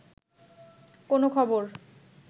কোনো খবর